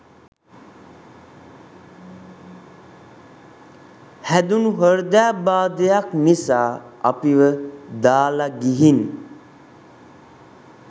හැදුනු හෘදයාබාධයක් නිසා අපිව දාලා ගිහින්